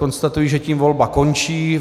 Konstatuji, že tím volba končí.